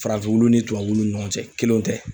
Farafinw ni tubabuw ni ɲɔgɔn cɛ, kelenw tɛ